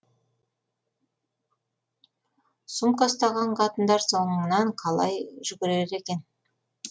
сумка ұстаған қатындар соңыңнан қалай жүгірер екен